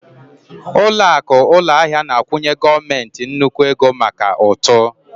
Ụlọakụ ụlọahịa na-akwụnye gọọmentị nnukwu ego maka ụtụ